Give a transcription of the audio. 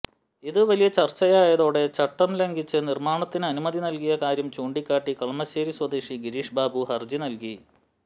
ഇത് വലിയ ചർച്ചയായതോടെ ചട്ടംലംഘിച്ച് നിർമ്മാണത്തിന് അനുമതി നൽകിയ കാര്യം ചൂണ്ടിക്കാട്ടി കളമശ്ശേരി സ്വദേശി ഗിരീഷ് ബാബു ഹർജി നൽകി